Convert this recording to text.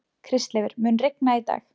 Kristleifur, mun rigna í dag?